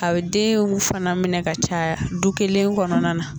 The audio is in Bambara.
A bɛ denw fana minɛ ka caya du kelen kɔnɔna na.